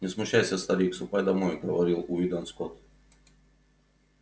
не смущайся старик ступай домой говорил уидон скотт